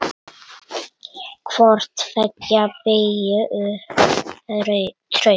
Hvort tveggja byggi upp traust.